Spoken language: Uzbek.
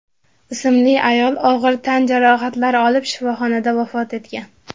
ismli ayol og‘ir tan jarohatlari olib shifoxonada vafot etgan.